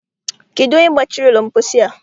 Kedụ onye gbachiri ụlọ mposi a?